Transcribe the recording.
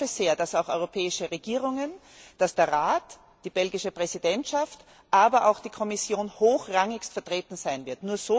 Aber ich hoffe sehr, dass auch europäische Regierungen, dass der Rat, die belgische Präsidentschaft, aber auch die Kommission hochrangigst vertreten sein wird.